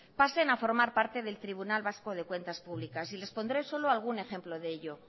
pasen a formar parte del tribunal vasco de cuentas públicas y les pondré solo algún ejemplo de ello